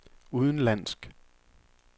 udenlandsk